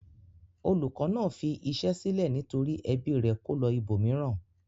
Olùkọ́ náà fi iṣẹ́ sílẹ̀ nítorí ẹbí rẹ̀ kó lọ ibòmíràn.